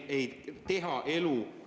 Aitäh!